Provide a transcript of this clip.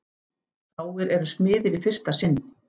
Fáir eru smiðir í fyrsta sinn.